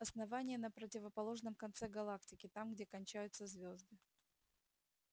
основание на противоположном конце галактики там где кончаются звёзды